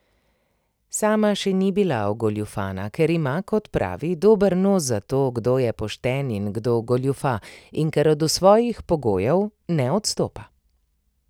Sama še ni bila ogoljufana, ker ima, kot pravi, dober nos za to, kdo je pošten in kdo goljufa, in ker od svojih pogojev ne odstopa.